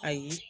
Ayi